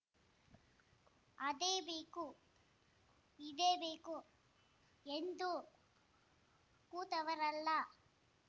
ಅದೇ ಬೇಕು ಇದೇ ಬೇಕು ಎಂದು ಕೂತವರಲ್ಲ